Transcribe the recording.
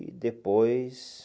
E depois...